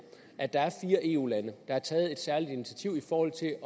at der er fire eu lande der har taget et særligt initiativ i forhold til at